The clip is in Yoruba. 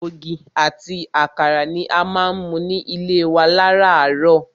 Ògì ati àkàrà ni a má ń mu ní ilé wa láràárọ̀.